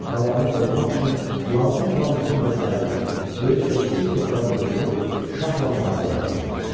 Qalanı qorumaq üçün lazım olan bütün vəsaiti, böyük və kiçik topları qurdurub, şahla müharibəyə hazırlaşdı.